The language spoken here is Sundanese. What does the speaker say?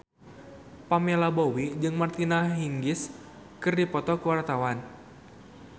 Pamela Bowie jeung Martina Hingis keur dipoto ku wartawan